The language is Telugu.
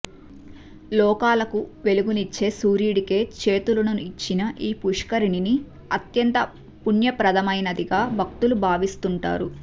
లోకాలకు వెలుగునిచ్చే సూర్యుడికే చేతులను ఇచ్చిన ఈ పుష్కరిణిని అత్యంత పుణ్యప్రదమైనదిగా భక్తులు భావిస్తుంటారు